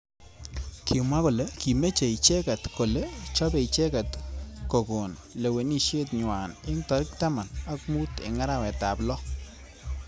Kimwa kole kimeche icheket kole chopei icheket kokon leweneshet nywa eng tarik taman ak mut eng arawet ab lo.